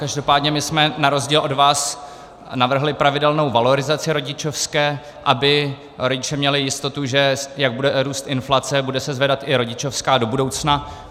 Každopádně my jsme na rozdíl od vás navrhli pravidelnou valorizaci rodičovské, aby rodiče měli jistotu, že jak bude růst inflace, bude se zvedat i rodičovská do budoucna.